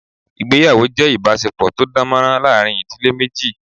Ìgbéyàwó jé ìbásepò tó dánmórán láàrin ìdílé méjì